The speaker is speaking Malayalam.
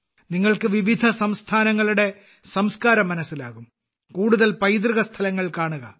നിങ്ങൾക്ക് വിവിധ സംസ്ഥാനങ്ങളുടെ സംസ്കാരം മനസ്സിലാകും കൂടുതൽ പൈതൃക സ്ഥലങ്ങൾ കാണുക